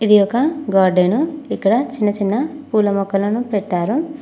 ఇది ఒక గార్డెను ఇక్కడ చిన్న చిన్న పూల మొక్కలను పెట్టారు.